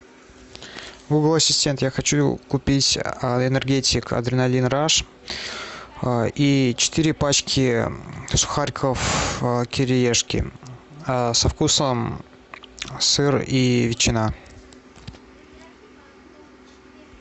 гугл ассистент я хочу купить энергетик адреналин раш и четыре пачки сухариков кириешки со вкусом сыр и ветчина